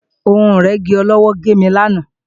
Ohun ìrẹ́gi ọlọ́wọ́ gé mi lánàá